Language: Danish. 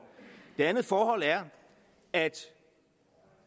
det andet forhold er at